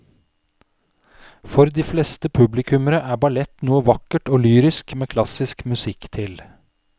For de fleste publikummere er ballett noe vakkert og lyrisk med klassisk musikk til.